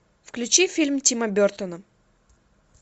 включи фильм тима бертона